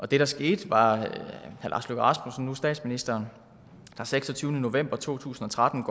det der skete var at herre lars løkke rasmussen nu statsministeren den seksogtyvende november to tusind og tretten